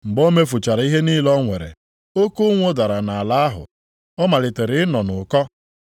Mgbe o mefuchara ihe niile o nwere, oke ụnwụ dara nʼala ahụ. Ọ malitere ịnọ nʼụkọ.